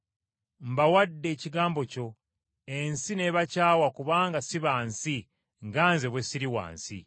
Mbawadde ekigambo kyo, ensi n’ebakyawa kubanga si ba nsi nga Nze bwe siri wa nsi.